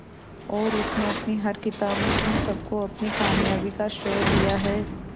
और उसने अपनी हर किताब में उन सबको अपनी कामयाबी का श्रेय दिया है